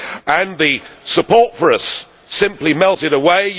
And the support for us simply melted away.